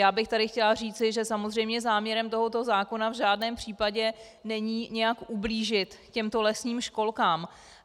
Já bych tady chtěla říci, že samozřejmě záměrem tohoto zákona v žádném případě není nějak ublížit těmto lesním školkám.